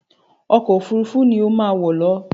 Ọkọ òfurufú ni ó má wọ̀ lọ!